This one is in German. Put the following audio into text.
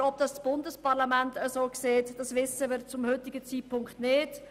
Aber ob es das Bundesparlament auch so sieht, wissen wir zum heutigen Zeitpunkt nicht.